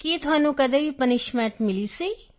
ਕੀ ਤੁਹਾਨੂੰ ਕਦੇ ਵੀ ਪਨਿਸ਼ਮੈਂਟ ਮਿਲੀ ਸੀ